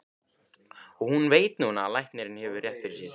Og hún veit núna að læknirinn hefur rétt fyrir sér.